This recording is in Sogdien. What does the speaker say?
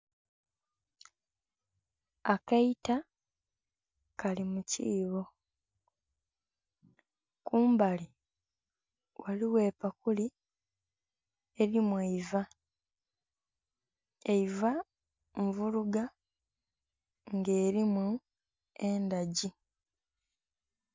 Akaita kali mu kiibo kumbali ghaligho epakuli elimu eiva, eiva nvuluga nga erimu endhagi.